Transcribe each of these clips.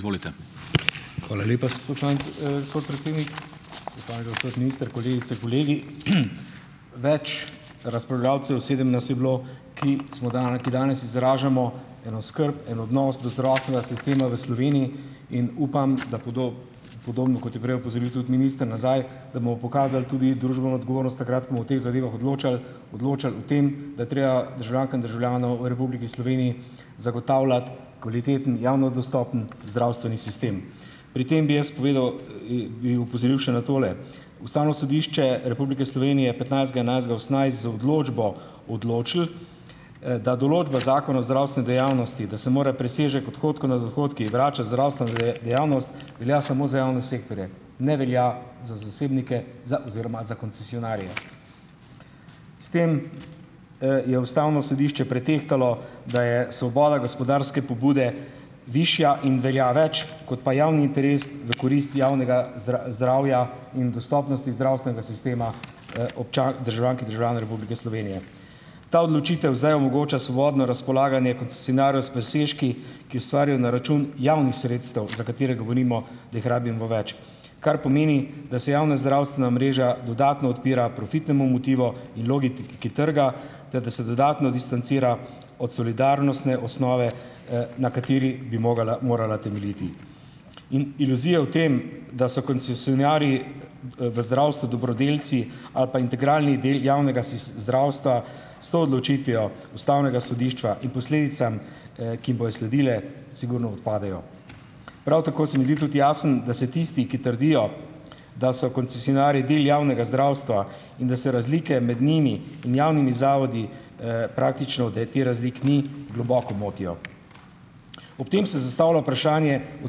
Hvala lepa, gospod predsednik. Spoštovani gospod minister, kolegice, kolegi! Več razpravljavcev, sedem nas je bilo, ki smo ki danes izražamo eno skrb, en odnos do zdravstvenega sistema v Sloveniji, in upam, da podobno, kot je prej opozoril tudi minister nazaj, da bomo pokazali tudi družbeno odgovornost takrat, ko bomo o teh zadevah odločali, odločali o tem, da je treba državljankam in državljanom v Republiki Sloveniji zagotavljati kvaliteten, javno dostopen zdravstveni sistem. Pri tem bi jaz povedal, bi opozoril še na tole. Ustavno sodišče Republike Slovenije je petnajstega enajstega osemnajst, z odločbo odločilo, da določba zakona o zdravstveni dejavnosti, da se mora presežek odhodkov nad odhodki vračati zdravstvene dejavnosti, velja samo za javne sektorje, ne velja za zasebnike za oziroma za koncesionarje. S tem, je ustavno sodišče pretehtalo, da je svoboda gospodarske pobude višja in velja več kot pa javni interes, v korist javnega zdravja in dostopnosti zdravstvenega sistema, državljank in državljanov Republike Slovenije. Ta odločitev zdaj omogoča svobodno razpolaganje koncesionarjev s presežki, ki ustvarjajo na račun javnih sredstev, za katere govorimo, da jih rabimo več, kar pomeni, da se javna zdravstvena mreža dodatno odpira profitnemu motivu in logiki trga ter da se dodatno distancira od solidarnostne osnove, na kateri bi mogala morala temeljiti. In iluzija v tem, da so koncesionarji, v zdravstvu dobrodelci ali pa integralni del javnega zdravstva, s to odločitvijo ustavnega sodišča in posledicam, ki bojo sledile, sigurno odpadejo. Prav tako se mi zdi tudi jasno, da se tisti, ki trdijo, da so koncesionarji del javnega zdravstva in da se razlike med njimi in javnimi zavodi, praktično, da te razlik ni, globoko motijo. Ob tem se zastavlja vprašanje o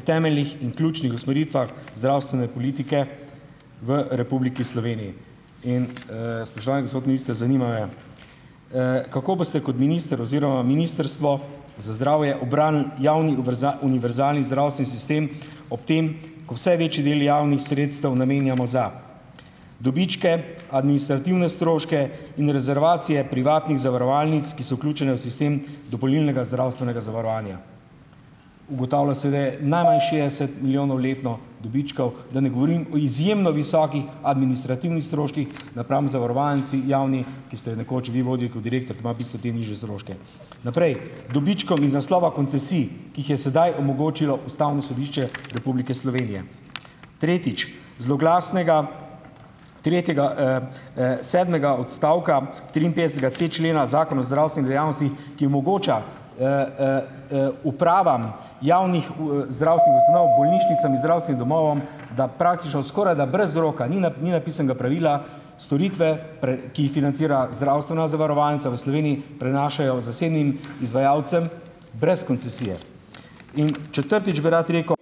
temeljnih in ključnih usmeritvah zdravstvene politike v Republiki Sloveniji. In, spoštovani gospod minister, zanima me: kako boste kot minister oziroma Ministrstvo za zdravje v bran javni univerzalni zdravstveni sistem ob tem, ko vse večji del javnih sredstev namenjamo za dobičke, administrativne stroške in rezervacije privatnih zavarovalnic, ki so vključene v sistem dopolnilnega zdravstvenega zavarovanja?" Ugotavlja seveda najmanj šestdeset milijonov letno dobičkov, da ne govorim o izjemno visokih administrativnih stroških napram zavarovalnici, javni, ki ste jo nekoč vi vodili kot direktor, ki ima v bistvu te nižje stroške. Naprej. dobičkom iz naslova koncesij, ki jih je sedaj omogočilo Ustavno sodišče Republike Slovenije. Tretjič, zloglasnega tretjega, sedmega odstavka triinpetdesetega c člena Zakona o zdravstveni dejavnosti, ki omogoča, upravam javnih, zdravstvenih ustanov, bolnišnicam in zdravstvenim domovom, da praktično skorajda brez roka, ni ni napisanega pravila, storitve, ki jih financira zdravstvena zavarovalnica v Sloveniji, prenašajo zasebnim izvajalcem brez koncesije. In četrtič bi rad rekel ...